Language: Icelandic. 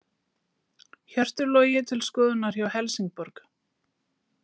Hjörtur Logi til skoðunar hjá Helsingborg